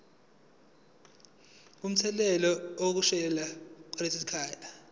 kumthetho wezodlame lwasekhaya